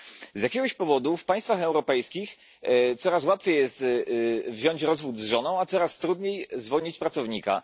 Z jakiegoś powodu w państwach europejskich coraz łatwiej jest wziąć rozwód z żoną, a coraz trudniej zwolnić pracownika.